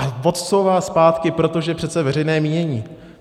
A odcouvá zpátky, protože přece veřejné mínění.